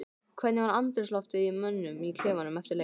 Hvernig var andrúmsloftið í mönnum í klefanum eftir leik?